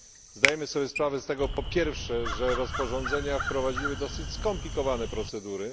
Zdajemy sobie sprawę z tego po pierwsze, że rozporządzenia wprowadziły dosyć skomplikowane procedury.